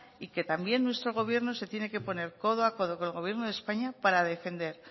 y que también nuestro gobierno se tiene que poner codo a codo con el gobierno de españa para defender